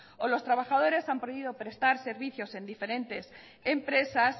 o los trabajadores han podido prestar servicios en diferentes empresas